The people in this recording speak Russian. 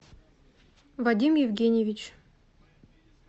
вадим евгеньевич